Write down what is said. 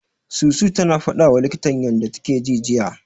Susu tana fadawa likitan ta yanda take ji, jiya.